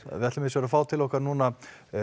við ætlum hins vegar að fá til okkar núna